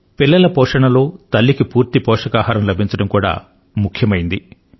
పిల్లల పోషణలో తల్లికి పూర్తి పోషకాహారం లభించడం కూడా ముఖ్యమైంది